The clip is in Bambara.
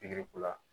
Pikiri ko la